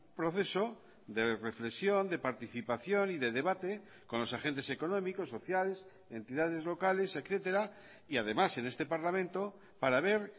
proceso de reflexión de participación y de debate con los agentes económicos sociales entidades locales etcétera y además en este parlamento para ver